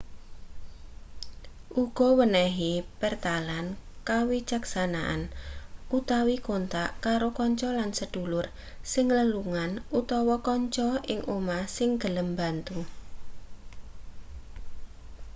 uga wenehi pertalan kawicaksanan/kontak karo kanca lan sedulur sing lelungan utawa kanca ing omah sing gelem mbantu